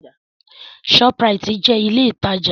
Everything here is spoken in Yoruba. Shoprite jẹ́ ilé ìtajà.